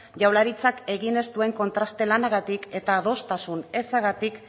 jaurlaritzak egin ez duen kontraste lanagatik eta adostasun ezagatik